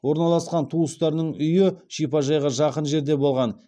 орналасқан туыстарының үйі шипажайға жақын жерде болған